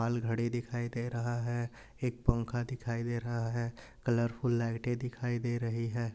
Wall घड़ी दिखाई दे रहा है एक पंखा दिखाई दे रहा है। कलरफुल लाइटे दिखाई दे रही हैं।